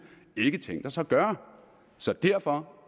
ikke tænkt os at gøre så derfor